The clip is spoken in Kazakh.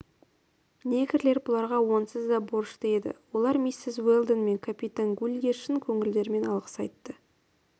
негрлер бұларға онсыз да борышты еді олар миссис уэлдон мен капитан гульге шын көңілдерімен алғыс айтты